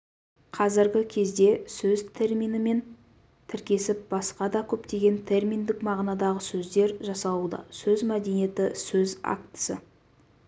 қазіргі кезде сөз терминімен тіркесіп басқа да көптеген терминдік мағынадағы сөздер жасалуда сөз мәдениеті сөз актісі